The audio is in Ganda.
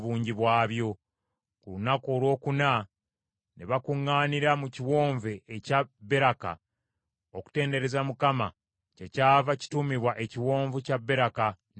Ku lunaku olwokuna ne bakuŋŋaanira mu kiwonvu ekya Beraka, okutendereza Mukama , kyekyava kituumibwa Ekiwonvu kya Beraka, ne leero.